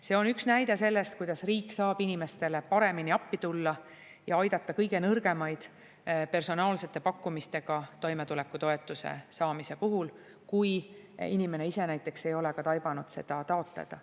See on üks näide sellest, kuidas riik saab inimestele paremini appi tulla ja aidata kõige nõrgemaid personaalsete pakkumistega toimetulekutoetuse saamise puhul, kui inimene ise näiteks ei ole ka taibanud seda taotleda.